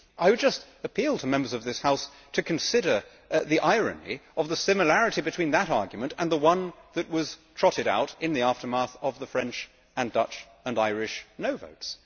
I would just appeal to Members of this House to consider the irony of the similarity between that argument and the one that was trotted out in the aftermath of the French, Dutch and Irish no' votes.